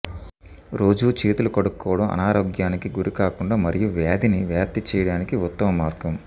రోజూ చేతులు కడుక్కోవడం అనారోగ్యానికి గురికాకుండా మరియు వ్యాధిని వ్యాప్తి చేయడానికి ఉత్తమ మార్గం